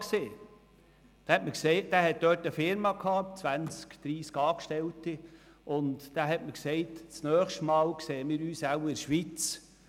Dieser hatte dort eine Firma mit zwanzig bis dreissig Angestellten, und er hat mir gesagt: «Das nächste Mal sehen wir uns wohl in der Schweiz.»